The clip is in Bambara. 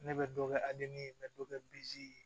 Ne bɛ dɔ kɛ ye n bɛ dɔ kɛ